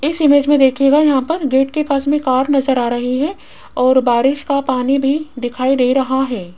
इस इमेज में देखिएग यहा पर गेट के पास में कार नजर आ रही है और बारिश का पानी भी दिखाई दे रहा है।